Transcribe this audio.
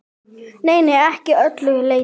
Nei, ekki að öllu leyti.